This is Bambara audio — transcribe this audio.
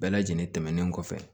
Bɛɛ lajɛlen tɛmɛnen kɔfɛ